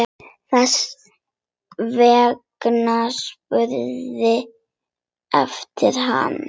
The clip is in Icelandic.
Þess vegna spurði enginn hana.